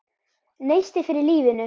Neisti fyrir lífinu.